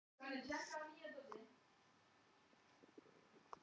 Móðir mín var jörðuð nokkrum dögum eftir að ég kom í Hólminn.